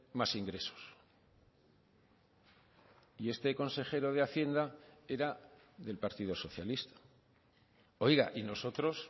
más ingresos y este consejero de hacienda era del partido socialista oiga y nosotros